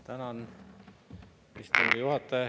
Tänan, istungi juhataja!